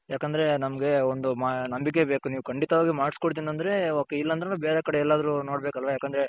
ಯಾಕಂದ್ರೆ ನಮ್ಮಗೆ ಒಂದು ನಂಬಿಕೆ ಬೇಕು ಕಂಡಿತವಾಗಿ ಮಾಡಸ್ ಕೊಡ್ತೀನಿ ಅಂದ್ರೆ ok ಇಲ್ಲ ಅಂದ್ರೆ ನಾವು ಬೇರೆ ಕಡೆ ಎಲ್ಲಾದರು ನೋಡ್ಬೇಕ್ ಅಲ್ವ ಯಾಕಂದ್ರೆ